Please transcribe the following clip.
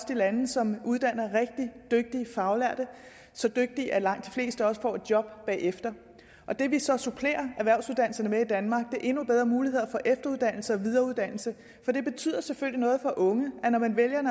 de lande som uddanner rigtig dygtige faglærte så dygtige at langt de fleste også får et job bagefter det vi så supplerer erhvervsuddannelserne med i danmark er endnu bedre muligheder for efteruddannelse og videreuddannelse for det betyder selvfølgelig noget for den unge at når man vælger en